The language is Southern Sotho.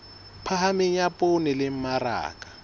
phahameng ya poone le mmaraka